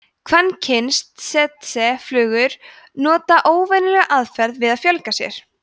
kvenkyns tsetseflugur nota óvenjulega aðferð við að fjölga sér